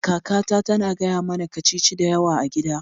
Kakata tana gaya mana kacici da yawa a gida